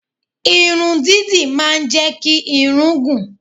Irun dídì máa ń jẹ́ kí irun gùn.